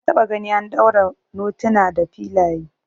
Na taba gani an daure notuna da filaya